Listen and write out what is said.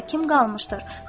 Arada kim qalmışdır?